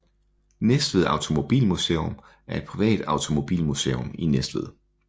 Næstved Automobilmuseum er et privat automobilmuseum i Næstved